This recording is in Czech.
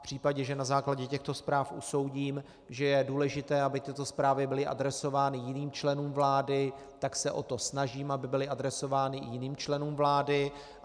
V případě, že na základě těchto zpráv usoudím, že je důležité, aby tyto zprávy byly adresovány jiným členům vlády, tak se o to snažím, aby byly adresovány i jiným členům vlády.